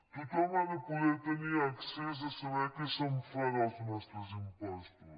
tothom ha de poder tenir accés a saber què se’n fa dels nostres impostos